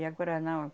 E agora não.